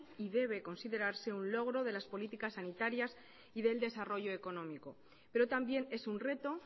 y deber considerarse un logro de las políticas sanitarias y del desarrollo económico pero también es un reto